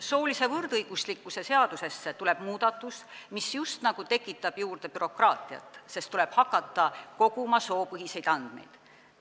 Soolise võrdõiguslikkuse seadusesse tuleb muudatus, mis just nagu tekitab juurde bürokraatiat, sest tuleb hakata koguma soopõhiseid andmeid.